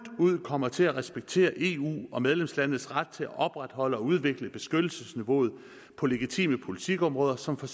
ud kommer til at respektere eu og medlemslandenes ret til at opretholde og udvikle beskyttelsesniveauet på legitime politikområder som for